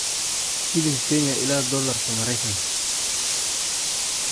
Shilinka Kenya ilaa Doolarka Maraykanka